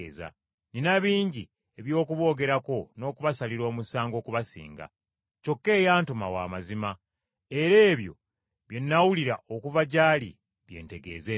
Nnina bingi eby’okuboogerako n’okubasalira omusango okubasinga, kyokka eyantuma wa mazima, era ebyo bye nawulira okuva gy’ali bye ntegeeza ensi.”